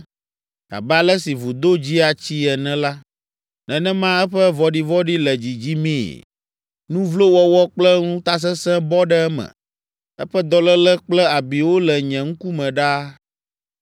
Abe ale si vudo dzia tsii ene la, nenema eƒe vɔ̃ɖivɔ̃ɖi le dzidzimii. Nu vlo wɔwɔ kple ŋutasesẽ bɔ ɖe eme. Eƒe dɔléle kple abiwo le nye ŋkume ɖaa.